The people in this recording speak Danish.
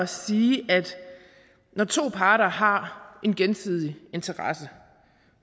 sige at når to parter har en gensidig interesse og